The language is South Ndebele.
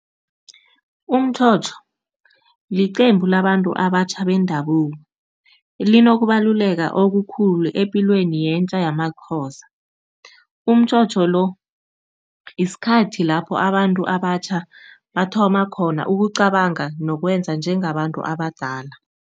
Umtjhotjho liqembu labantu abatjha bendabuko. Linokubaluleka okukhulu epilweni yentja yamaXhosa, umtjhotjho lo isikhathi lapho abantu abatjha bathoma khona ukucabanga nokwenza njengabantu abadala.